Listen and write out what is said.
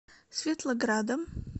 светлоградом